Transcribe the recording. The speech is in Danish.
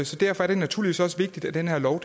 så derfor er det naturligvis også vigtigt at den her lov